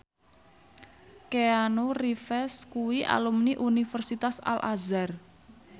Keanu Reeves kuwi alumni Universitas Al Azhar